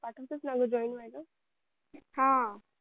पाठवतात ना ग goin व्हायला हा